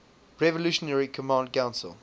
revolutionary command council